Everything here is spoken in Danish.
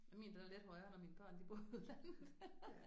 Ja min den er lidt højere når mine børn de bor i udlandet